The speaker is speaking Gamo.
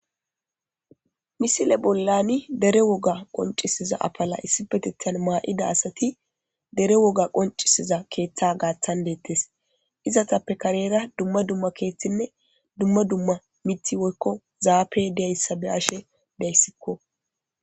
Missile bolla dere woga qoncisiza afalla issippetethan ma'da assathi dere woga qoncisiza keththa gathan dethess. Izzathappe karera dumma dumma miththi woykko zape deysa bea'she dayssikko.